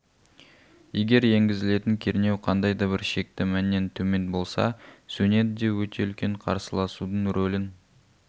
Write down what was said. егер енгізілетін кернеу қандай да бір шекті мәннен төмен болса сөнеді де өте үлкен қарсыласудың рөлін